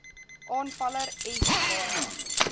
aanvaller s baie